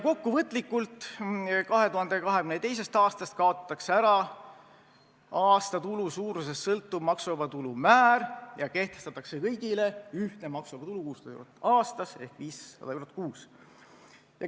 Kokkuvõtlikult, 2022. aastast kaotatakse ära aastatulu suurusest sõltuv maksuvaba tulu määr ja kehtestatakse kõigile ühtne maksuvaba tulu 6000 eurot aastas ehk 500 eurot kuus.